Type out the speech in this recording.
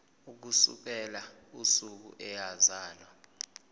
ukusukela usuku eyazalwa